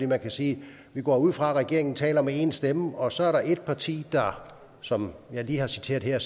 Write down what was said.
man kan sige at vi går ud fra at regeringen taler med én stemme og så er der et parti som jeg lige har citeret her